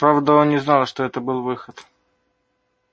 правда он не знал что это был выход